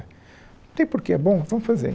Não tem porquê, é bom, vamos fazer.